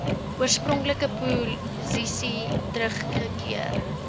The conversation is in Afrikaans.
oorspronklike posisie teruggekeer